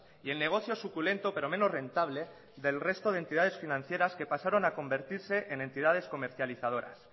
y el negocio suculento pero menos rentable del resto de entidades financieras que pasaron a convertirse en entidades comercializadoras